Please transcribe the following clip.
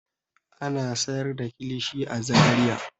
Ana sayar da kilishi a Zariya.